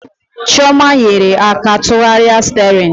Chioma nyere ha aka tụgharịa sterin